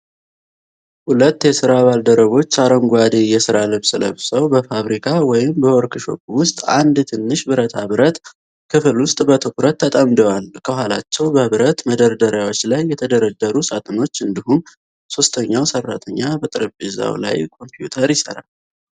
ሁለት የሥራ ባልደረቦች አረንጓዴ የሥራ ልብስ ለብሰው፣ በፋብሪካ ወይም በዎርክሾፕ ውስጥ አንድ ትንሽ ብረታ ብረት ክፍል ላይ በትኩረት ተጠምደዋል። ከኋላቸው በብረት መደርደሪያዎች ላይ የተደረደሩ ሳጥኖች፣ እንዲሁም ሶስተኛው ሠራተኛ በጠረጴዛው ላይ ኮምፒውተር ይሠራል።